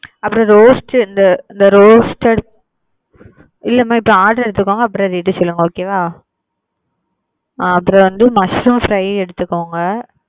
அப்புறம் roast இந்த roasted இல்லமா இப்போ order எடுத்துகோங்க அப்புறம் rate சொல்லுங்க okay வா அப்புறம் வந்து mushroom fry எடுத்துகோங்க.